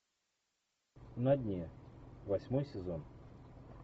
на дне восьмой сезон